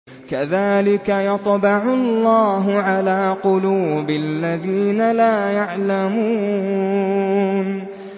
كَذَٰلِكَ يَطْبَعُ اللَّهُ عَلَىٰ قُلُوبِ الَّذِينَ لَا يَعْلَمُونَ